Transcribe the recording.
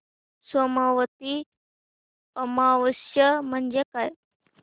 सोमवती अमावस्या म्हणजे काय